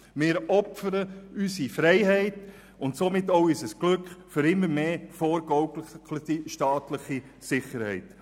Wir opfern unsere Freiheit und somit auch unser Glück für immer mehr vorgegaukelte staatliche Sicherheit.